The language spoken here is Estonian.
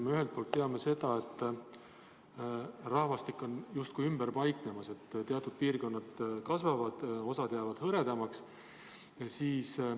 Me ühelt poolt teame seda, et rahvastik on justkui ümber paiknemas, teatud piirkonnad kasvavad, osa jäävad hõredamaks.